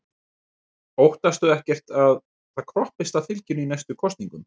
Þorbjörn: Óttastu ekki að það kroppist af fylginu í næstu kosningum?